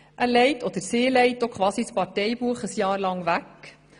Er oder sie legt während eines Jahrs quasi das Parteibuch weg.